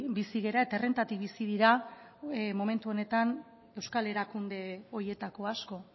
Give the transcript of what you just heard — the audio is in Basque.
bizi gara eta errentatik bizi dira momentu honetan euskal erakunde horietako asko